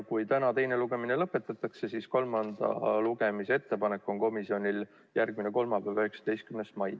Kui täna teine lugemine lõpetatakse, siis on komisjonil ettepanek teha kolmas lugemine järgmisel kolmapäeval, 19. mail.